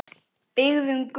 Byggðum götu.